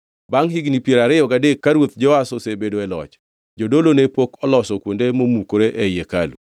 Bangʼ higni piero ariyo gadek ka ruoth Joash osebedo e loch; jodolo ne pok oloso kuonde momukore ei hekalu.